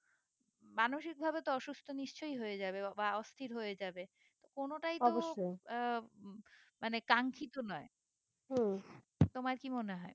মানসিক ভাবে তো অসুস্থ নিশ্চই হয়ে যাবে বা অস্থির হয়ে যাবে কোনোটাই তো আহ মানে কাঙ্খিত নয় তোমার কি মনে হয়ে